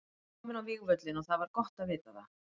Ég var kominn á vígvöllinn og það var gott að vita það.